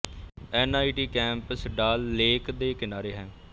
N I T campus Dal lake ਦੇ ਕਿਨਾਰੇ ਹੈ